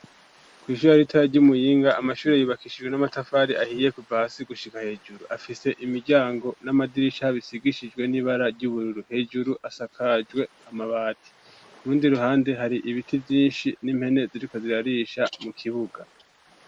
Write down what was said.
Kw'Ishure ritoya ryi Muyinga, Amashure yubakishijwe n'Amatafari ahiye, Kuva hasi gushika hejuru, afise Imiryango n'Amadirisha bisigishijwe n'ibara ry'ubururu, Hejuru hasakajwe Amabati, kurundi ruhande hari Ibiti vyinshi nimpene ziriko zirarisha mu kibuga.